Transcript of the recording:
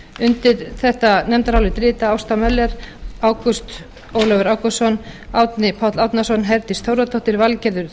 undir þetta nefndarálit rita ásta möller ágúst ólafur ágústsson árni páll árnason herdís þórðardóttir valgerður